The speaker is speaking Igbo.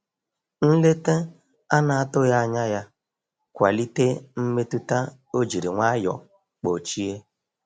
Nleta anatughi anya ya kwalite mmetụta o jiri nwayo kpochie.